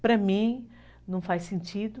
Para mim, não faz sentido.